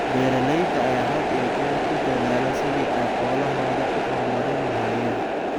Beeralayda ayaa had iyo jeer ku dadaala sidii ay xoolahooda u horumarin lahaayeen.